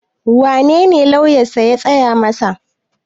wanene lauyansa ya tsaya masa?